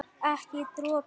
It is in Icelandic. Ekki dropi.